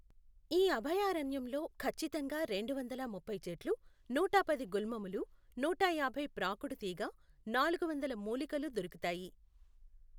ఈ అభయారణ్యంలో ఖచ్చితంగా రెండు వందల ముప్పై చెట్లు, నూటపది గుల్మములు, నూట యాభై ప్రాకుడుతీగ, నాలుగు వందలు మూలికలు దొరుకుతాయి.